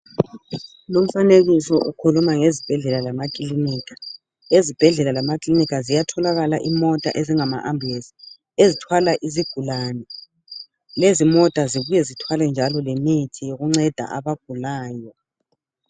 Lomfanekiso ukhuluma ngezibhedlela lamakilinika. Ezibhedlela lamakilinika kuyatholakala izimota ezingama ambulenzi ezithwala izigulane, lezimota zibuye zithwale njalo lemithi yokunceda abagulayo.